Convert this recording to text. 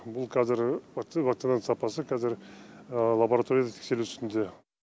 бұл қазір вакцинаның сапасы қазір лабораторияда тексерілу үстінде